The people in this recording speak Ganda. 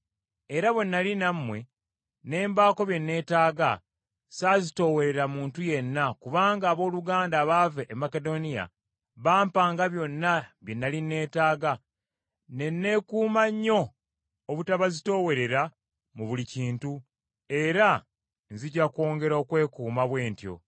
era bwe nnali nammwe ne mbaako bye neetaaga, ssaazitoowerera muntu yenna kubanga abooluganda abaava e Makedoniya bampanga byonna bye nnali neetaaga, ne neekuuma nnyo obutabazitoowerera mu buli kintu, era nzija kwongera okwekuuma bwe ntyo.